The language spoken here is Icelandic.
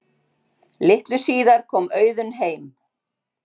Litlu síðar kom Auðunn heim.